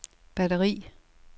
batteri